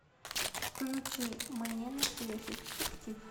включи мне настоящий детектив